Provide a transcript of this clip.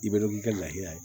I bɛ dɔn k'i ka lahala ye